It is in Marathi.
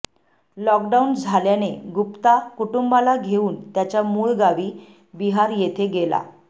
लॉकडाउन झाल्याने गुप्ता कुटुंबाला घेऊन त्याच्या मूळ गावी बिहार येथे गेला